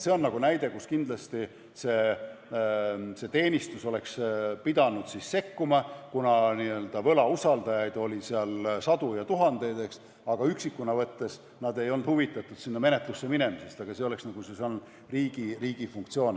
See on näide, kus kindlasti see teenistus oleks pidanud siis sekkuma, kuna n-ö võlausaldajaid oli seal sadu ja tuhandeid, aga üksikuna võttes nad ei olnud huvitatud sinna menetlusse minemisest, see oleks siis olnud riigi funktsioon.